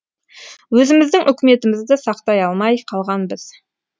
өзіміздің үкіметімізді сақтай алмай қалғанбыз